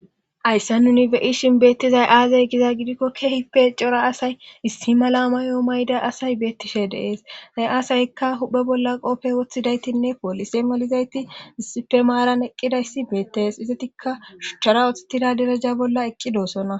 haysse nuni beyishin beettizay aaze giza gidikko keehipe cora asay issi malamayoo mayda asay beettishe deees zay aasaykka huphe bolla qopfey woththidaytinne poolise malizayti issife maaran eqqidayssi beettees izatikka shuchara ottida deraja bolla eqqidoosona